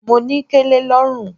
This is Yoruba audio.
Mo ní kẹlẹ lọ́rùn.